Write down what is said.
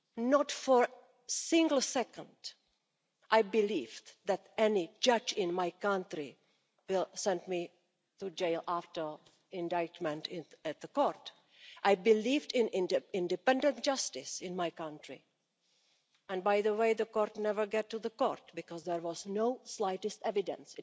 not for a single second did I believe that any judge in my country would send me to jail after indictment in the court. I believed in independent justice in my country and by the way the case never got to the court because there was not the slightest evidence.